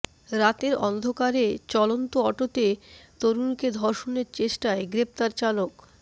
রাতের অন্ধকারে চলন্ত অটোতে তরুণীকে ধর্ষণের চেষ্টায় গ্রেফতার চালক